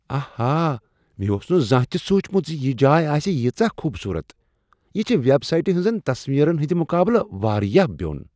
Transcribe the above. آہا! مےٚ اوس نہٕ زانٛہہ تہ سوچمت ز یہ جاے آسہ ییٖژاہ خوبصورت۔ یہ چھےٚ ویب سایٹہِ ہٕنزن تصویٖرن ہٕنٛد مقابلہٕ واریاہ بیوٚن۔